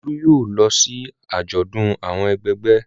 Olú yóò lọ sí àjọ̀dún àwọn ẹgbẹgbẹ́.